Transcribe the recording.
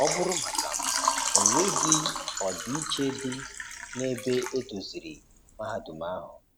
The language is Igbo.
Ọ bụrụ maka m,ọ nweghi ọdịiche di na ebe edoziri mahadum ahụ.